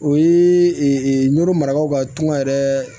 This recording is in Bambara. O ye noro marabagaw ka tɔn yɛrɛ